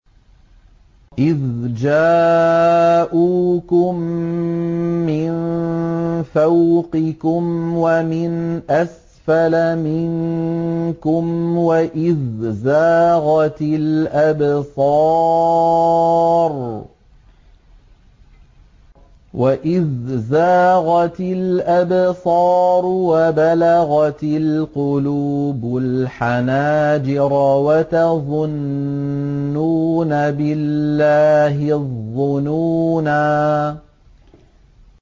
إِذْ جَاءُوكُم مِّن فَوْقِكُمْ وَمِنْ أَسْفَلَ مِنكُمْ وَإِذْ زَاغَتِ الْأَبْصَارُ وَبَلَغَتِ الْقُلُوبُ الْحَنَاجِرَ وَتَظُنُّونَ بِاللَّهِ الظُّنُونَا